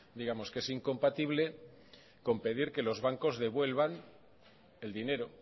digamos que es incompatible con pedir que los bancos devuelvan el dinero